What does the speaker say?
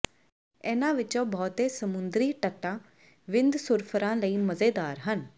ਇਨ੍ਹਾਂ ਵਿੱਚੋਂ ਬਹੁਤੇ ਸਮੁੰਦਰੀ ਤੱਟਾਂ ਵਿੰਡਸੁਰਫਰਾਂ ਲਈ ਮਜ਼ੇਦਾਰ ਹਨ